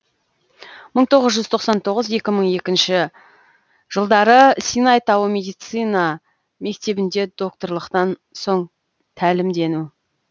мың тоғыз жүз тоқсан тоғыз екі мың екінші жылдары синай тауы медицина мектебінде докторлықтан соң тәлімдену